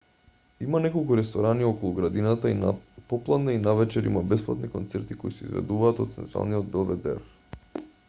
има неколку ресторани околу градината и на попладне и навечер има бесплатни концерти кои се изведуваат од централниот белведер